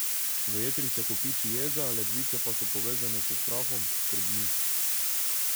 V jetrih se kopiči jeza, ledvice pa so povezane s strahom, skrbmi.